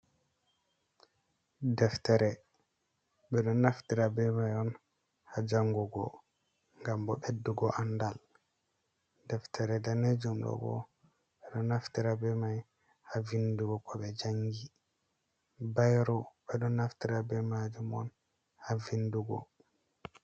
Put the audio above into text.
Deftere ɓeɗo naftira be mai on ha jangugo ngam bo ɓeddugo andal. Deftere danejum ɗo bo ɓeɗo naftira be mai ha vindugo ko ɓe jangi. Bairo ɓeɗo naftira be majum on ha vindugo.